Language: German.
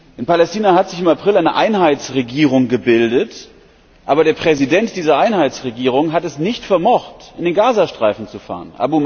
In Palästina hat sich im April eine Einheitsregierung gebildet, aber der Präsident dieser Einheitsregierung hat es nicht vermocht, in den Gazastreifen zu fahren.